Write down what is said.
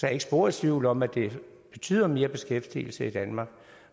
er ikke spor i tvivl om at det betyder mere beskæftigelse i danmark